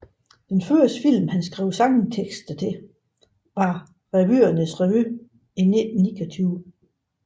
Den første film han skrev sangtekster til var Revyernes revy i 1929